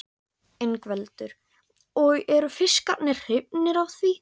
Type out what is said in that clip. Ingveldur: Og eru fiskarnir hrifnir af því?